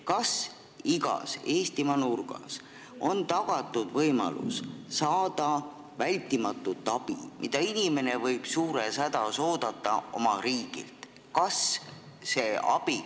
Kas igas Eestimaa nurgas on tagatud võimalus saada vältimatult vajalikku abi, mida inimene võib suures hädas oodata oma riigilt?